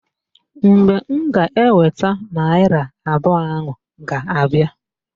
Mgbe m ga-eweta naịra abụọ ahụ ga-abịa